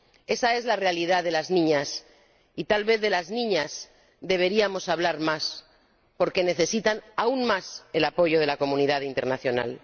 Esa es la realidad de las niñas, y tal vez de las niñas deberíamos hablar más, porque necesitan aún más el apoyo de la comunidad internacional.